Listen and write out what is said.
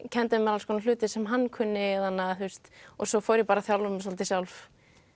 kenndi mér alls konar hluti sem hann kunni og svo fór ég að þjálfa mig svolítið sjálf